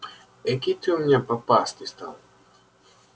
экий ты у меня попастый стал